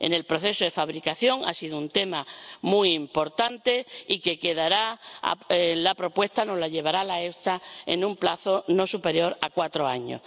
en el proceso de fabricación ha sido un tema muy importante, y quedará la propuesta de la EFSA en un plazo no superior a cuatro años.